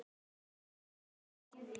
Magnað útspil.